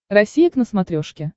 россия к на смотрешке